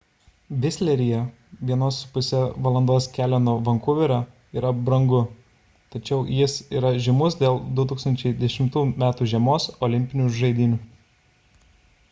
visleryje 1,5 val. kelio nuo vankuverio yra brangu tačiau jis yra žymus dėl 2010 m. žiemos olimpinių žaidynių